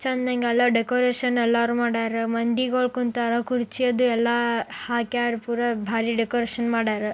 ಇಲ್ಲಿ ಚೆನ್ನಾಗಿ ಡೆಕೋರೇಷನ್ ಎಲ್ಲ ಮಾಡಿದರೆ ಕುರ್ಚಿಗಳೆಲ್ಲ ಹಾಕಿ ಬೊಂಬಾಟಾಗಿ ಡೆಕೋರೇಷನ್ ಮಾಡಿದರೆ